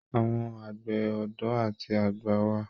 Àwọn àgbẹ̀ ọdọ àti àgbà wà.